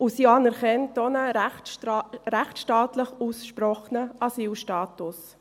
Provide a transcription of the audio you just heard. Sie anerkennt auch einen rechtsstaatlich ausgesprochenen Asylstatus.